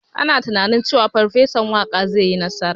Ana tunanin cewa Farfesan Waƙa zai yi nasara.